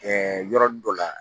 yɔrɔnin dɔ la